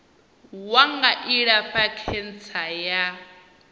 wa nga ilafha khentsa ya